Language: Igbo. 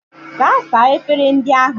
Gaa saa efere ndị ahụ!